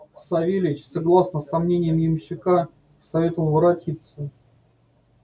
савельич согласно со мнением ямщика советовал воротиться